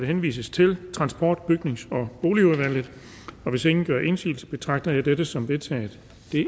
henvises til transport bygnings og boligudvalget hvis ingen gør indsigelse betragter jeg dette som vedtaget